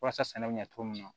Walasa sɛnɛ bɛ ɲɛ cogo min na